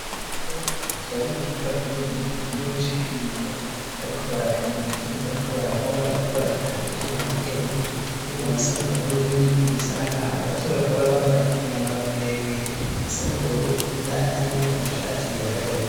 Abasore batatu bari mu cumba kininiya gikomeye c'ipimiro bariko barapima ivyuma bariko barakora bariko barabikata ivyuma bimwe bimwe, ivyuma bisa n'ubururu n'ibindi vyuma bisa n'agahamo, abasore bakaba bari bambaye imyambaro miremire isa n'ubururu n'indani hariyo amashati yera derere.